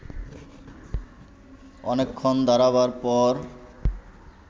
অনেকক্ষণ দাঁড়াবার পর